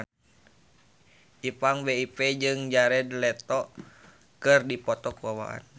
Ipank BIP jeung Jared Leto keur dipoto ku wartawan